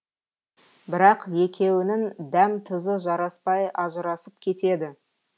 бірақ екеуінің дәм тұзы жараспай ажырасып кетеді